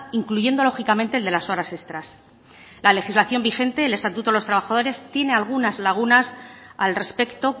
incluyendo lógicamente el de las horas extras la legislación vigente el estatuto de los trabajadores tiene algunas lagunas al respecto